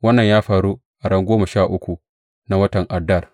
Wannan ya faru a ran goma sha uku na watan Adar.